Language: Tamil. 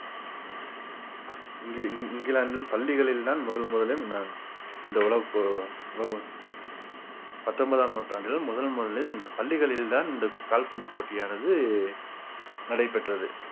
இங்கி~ இங்~ இங்கிலாந்தில் பள்ளிகளில் தான் முதல் முதலில் நான் இந்த உலவுக்கு உலவு~ பத்தொன்பதாம் நூற்றாண்டில் முதல் முதலில் இந்த பள்ளிகளில் தான் இந்த கால்பந்து போட்டியானது நடைபெற்றது